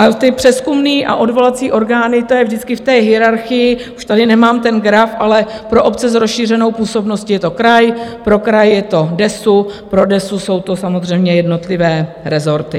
A ty přezkumné a odvolací orgány, to je vždycky v té hierarchii - už tady nemám ten graf - ale pro obce s rozšířenou působností je to kraj, pro kraj je to DESÚ, pro DESÚ jsou to samozřejmě jednotlivé rezorty.